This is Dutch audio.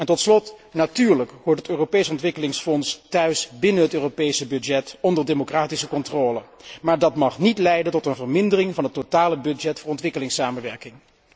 Tot slot, natuurlijk hoort het Europees Ontwikkelingsfonds thuis binnen het Europese budget onder democratische controle, maar dat mag niet leiden tot een vermindering van het totale budget voor ontwikkelingssamenwerking.